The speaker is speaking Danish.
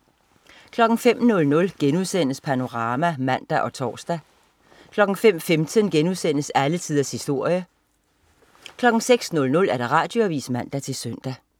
05.00 Panorama* (man og tors) 05.15 Alle tiders historie* 06.00 Radioavis (man-søn)